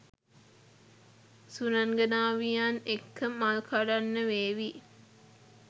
සුරංගනාවියන් එක්ක මල් කඩන්න වේවි.